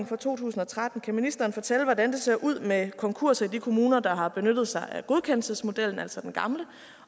fra 2013 kan ministeren fortælle hvordan det ser ud med konkurser i de kommuner der har benyttet sig af godkendelsesmodellen altså den gamle